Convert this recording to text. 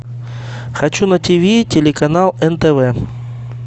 хочу на ти ви телеканал нтв